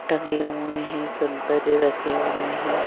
टंगे हुए हैं सौंदर्य रखे हुए हैं।